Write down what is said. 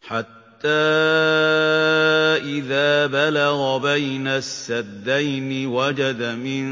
حَتَّىٰ إِذَا بَلَغَ بَيْنَ السَّدَّيْنِ وَجَدَ مِن